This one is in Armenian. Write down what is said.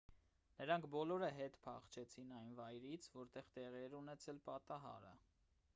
նրանք բոլորը հետ փախչեցին այն վայրից որտեղ տեղի էր ունեցել պատահարը